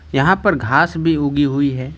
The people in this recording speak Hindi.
यहां पर घास भी उगी हुई है।